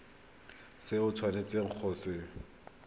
se o tshwanetseng go se